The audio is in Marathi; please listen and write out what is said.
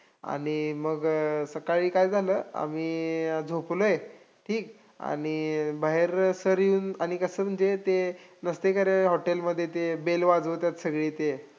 आणि मग सकाळी काय झालं, आम्ही झोपलोय ठीक, आणि बाहेर sir येऊन, आणि कसं म्हणजे ते नसतंय का रे ते hotel मध्ये ते bell वाजवत्यात सगळे ते